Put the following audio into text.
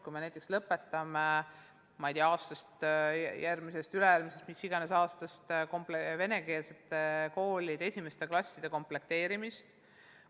Kas me näiteks lõpetame järgmisest või ülejärgmisest või mis iganes aastast venekeelsete koolide esimeste klasside komplekteerimise?